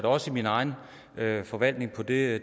også i min egen forvaltningsperiode